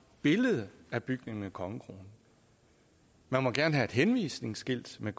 billede af bygningen med kongekronen man må gerne have et henvisningsskilt med